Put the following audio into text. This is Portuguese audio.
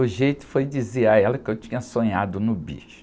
O jeito foi dizer a ela que eu tinha sonhado no bicho.